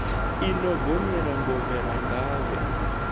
i no gonyela ngovhela ngavhe